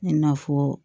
I n'a fɔ